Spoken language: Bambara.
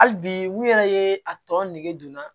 Hali bi n yɛrɛ ye a tɔ nege don n na